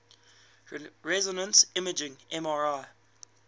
resonance imaging mri